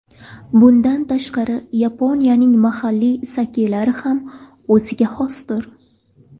Bundan tashqari Yaponiyaning mahalliy sakelari ham o‘ziga xosdir.